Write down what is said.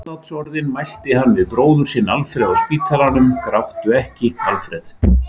Andlátsorðin mælti hann við bróður sinn Alfreð á spítalanum: Gráttu ekki, Alfreð!